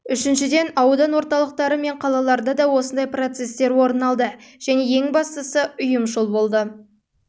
үшіншіден аудан орталықтары мен қалаларда да осындай процестер орын алды және ең бастысы ұйымшыл болды